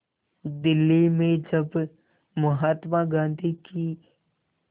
दिल्ली में जब महात्मा गांधी की